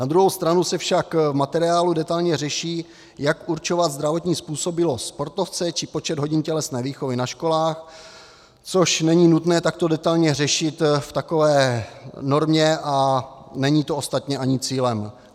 Na druhou stranu se však v materiálu detailně řeší, jak určovat zdravotní způsobilost sportovce či počet hodin tělesné výchovy na školách, což není nutné takto detailně řešit v takové normě a není to ostatně ani cílem.